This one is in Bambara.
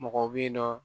Mɔgɔ bɛ yen nɔ